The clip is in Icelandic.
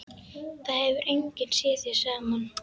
Það hefur enginn séð þau saman.